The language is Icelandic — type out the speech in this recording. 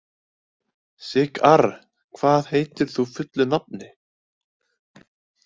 Sigarr, hvað heitir þú fullu nafni?